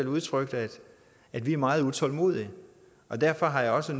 udtrykt at vi er meget utålmodige og derfor har jeg også